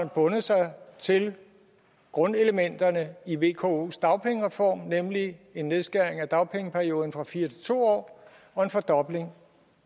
bundet sig til grundelementerne i vkos dagpengereform nemlig en nedskæring af dagpengeperioden fra fire til to år og en fordobling